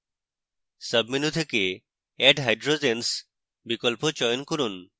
সাবmenu থেকে add hydrogens বিকল্প চয়ন from